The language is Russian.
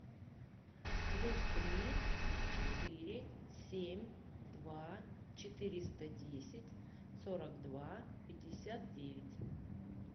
плюс три четыре семь два четыреста десять сорок два пятьдесят девять